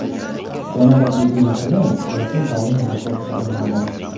Yana bir jiddiy masala ularning doimiy ro‘yxatga olinmagani.